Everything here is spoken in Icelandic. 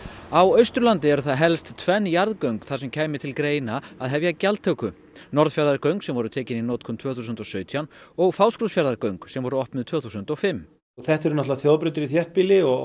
á Austurlandi eru helst tvenn jarðgöng þar sem kæmi til greina að hefja gjaldtöku Norðfjarðargöng sem voru tekin í notkun tvö þúsund og sautján og Fáskrúðsfjarðargöng sem voru opnið tvö þúsund og fimm þetta er náttúrulega þjóðbrautir í þéttbýli og